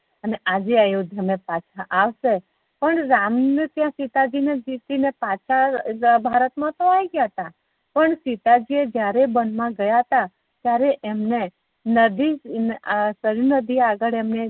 અને આજે અયોધ્યા મા પાછા આવશે પણ રામ ને ત્યાં સીતાજી ને પાછા ભારત મા તો આવી ગયા તા પણ સીતાજી એ જયારે વનમા ગયાતા ત્યારે અમને નદી સર્યુંનદી આગળ અમને